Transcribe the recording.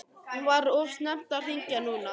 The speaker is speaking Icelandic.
Var of snemmt að hringja núna?